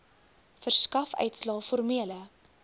verskaf uitslae formele